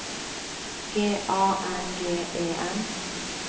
G A N G E N